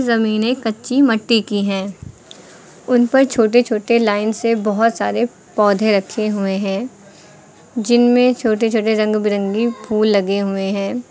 जमीनें कच्ची मट्टी की है उन पर छोटे छोटे लाइन से बहोत सारे पौधे रखे हुए हैं जिनमें छोटे छोटे रंग बिरंगी फूल लगे हुए हैं।